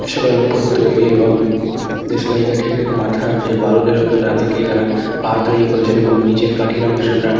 solar ওপর তৈরী এবং দেশলাই কাঠির মাথার যে বারুদের অংশ তা থেকে তারা পা তৈরী করেছেন | এবং নিচের কাঠির অংশটা --